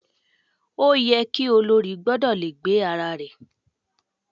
Ó yẹ ki olórí gbọ́dọ̀ le gbé ara rẹ̀.